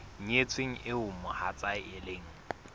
nyetsweng eo mohatsae e leng